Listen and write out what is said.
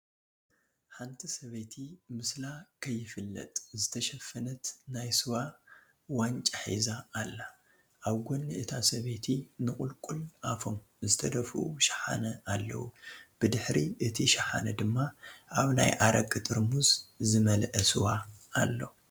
ሓንቲ ሰበይቲ ምስላ ከይፍለጥ ዝተሸፈነት ናይ ስዋ ዋንጫ ሒዛ አላ፡፡ አብ ጎኒ እታ ሰበይቲ ንቁልቁል አፎም ዝተደፍኡ ሸሓነ አለዉ ብድሕሪ እቲ ሸሓነ ድማ አብ ናይ አረቂ ጥርሙዝ ዝመልአ ስዋ አሎ፡፡